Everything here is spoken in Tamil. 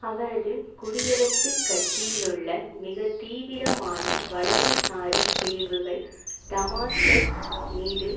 அவரது குடியரசுக் கட்சியிலுள்ள மிக தீவிரமான வலதுசாரி பிரிவுகள் டமாஸ்கஸ் மீது